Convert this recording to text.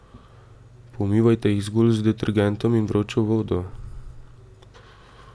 Pomivajte jih zgolj z detergentom in vročo vodo.